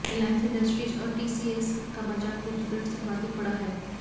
रिलायंस इंडस्ट्रीज और टीसीएस का बाजार पूंजीकरण सर्वाधिक बढ़ा है